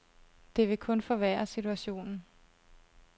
Det vil kun forværre situationen.